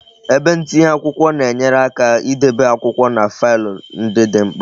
Ebe ntinye akwụkwọ na enyere aka idebe akwụkwọ na faịlụ ndị dị mkpa